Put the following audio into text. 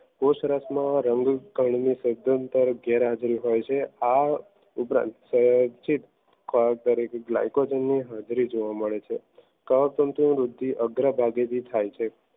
પોષ રસ ના રંગીન કદ નું સજ્જનતદ ગેરહાજરી હોય છે આ ઉપરાંત દારેક ગ્લાયકોજન ની હાજરી જોવા મળે છે કવક તંતુઓ વૃદ્ધિ અગ્રભાગે થી થાય છે.